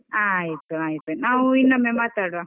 ಹಾ ಆಯ್ತು ಆಯ್ತು, ನಾವು ಇನ್ನೊಮ್ಮೆ ಮಾತಾಡುವ.